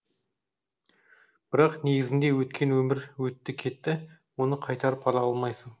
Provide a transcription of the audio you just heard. бірақ негізінде өткен өмір өтті кетті оны қайтарып ала алмайсың